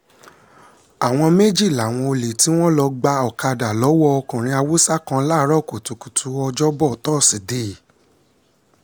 àwọn méjì làwọn olè tí wọ́n lọ́ọ́ gba ọ̀kadà lọ́wọ́ ọkùnrin haúsá kan láàárọ̀ kùtùkùtù ọjọ́bọ̀ tọ́sídẹ̀ẹ́